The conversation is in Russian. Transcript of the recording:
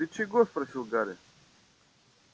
ты чего спросил гарри